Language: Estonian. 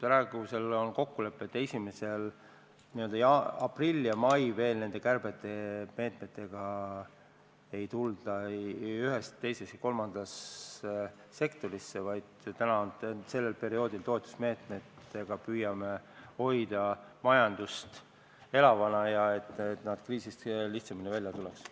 Praegu on kokkulepe, et aprillis ja mais kärpemeetmetega ei ühes, teises ega kolmandas sektoris veel välja ei tulda, vaid sel perioodil püüame majandust toetusmeetmetega elavana hoida, et kriisist lihtsamini välja tulla.